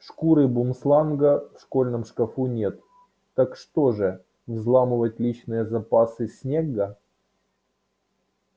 шкуры бумсланга в школьном шкафу нет так что же взламывать личные запасы снегга